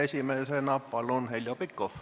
Esimesena palun, Heljo Pikhof!